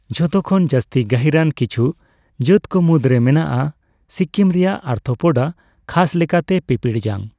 ᱡᱷᱚᱛᱚᱠᱷᱚᱱ ᱡᱟᱹᱥᱛᱤ ᱜᱟᱹᱦᱤᱨ ᱟᱱ ᱠᱤᱪᱷᱩ ᱡᱟᱹᱛ ᱠᱚ ᱢᱩᱫᱨᱮ ᱢᱮᱱᱟᱜᱼᱟ ᱥᱤᱠᱤᱢ ᱨᱮᱭᱟᱜ ᱟᱨᱛᱷᱳᱯᱚᱰᱟ, ᱠᱷᱟᱥ ᱞᱮᱠᱟᱛᱮ ᱯᱤᱼᱯᱤᱲᱡᱟᱝ ᱾